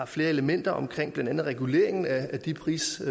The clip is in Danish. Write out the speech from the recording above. flere elementer blandt andet reguleringen af de priser